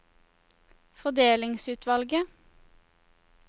fordelingsutvalget